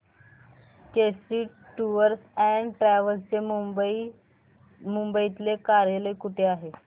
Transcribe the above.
Kesari tours and travels चे मुंबई तले कार्यालय कुठे आहे